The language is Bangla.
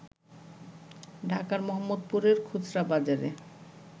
ঢাকার মোহাম্মদপুরের খুচরা বাজারে